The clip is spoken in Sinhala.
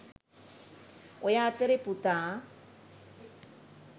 ඔය අතරෙ පුතා